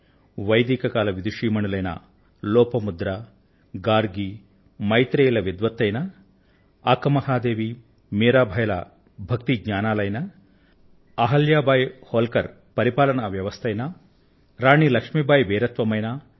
వైదిక కాల విదుషీమణులైన లోపాముద్ర గార్గి మైత్రేయి ల విద్వత్తు అయినా అక్క మహాదేవి మీరాబాయి ల భక్తి జ్ఞానాలు అయినా అహిల్యా బాయి హోల్కర్ పరిపాలన వ్యవస్థ అయినా రాణి లక్ష్మీబాయి వీరత్వం అయినా